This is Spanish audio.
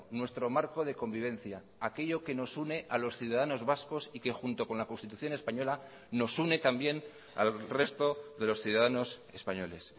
nuestro marco de convivencia aquello que nos une a los ciudadanos vascos y que junto con la constitución española nos une también al resto de los ciudadanos españoles